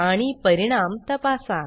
आणि परिणाम तपासा